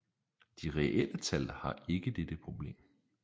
De reelle tal har ikke dette problem